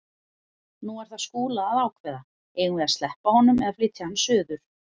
Nú er það Skúla að ákveða: Eigum við að sleppa honum eða flytja hann suður?